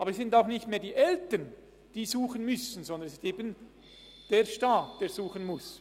Es sind dann nicht mehr die Eltern, die suchen müssen, sondern es ist der Staat, der suchen muss.